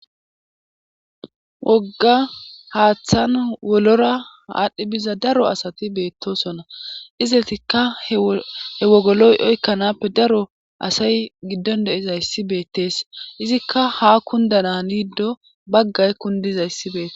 wogga haaththan wolora aadhdhi biza daro asati beettosona izetikka he wogoloy oykkanappe daro asay giddon deizayssi beettees izikka ha kundana niddo baggay kundizayssi beettes